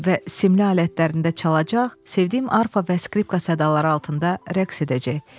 Və simli alətlərində çalacaq, sevgim arfa və skripka sədalaları altında rəqs edəcək.